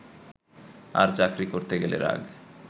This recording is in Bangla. আর চাকরি করতে গেলে রাগ